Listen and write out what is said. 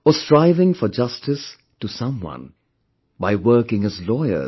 Or striving for justice to someone by working as Lawyer